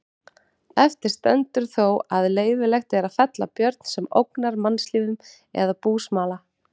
Eftir stendur þó að leyfilegt er að fella björn sem ógnar mannslífum eða búsmala.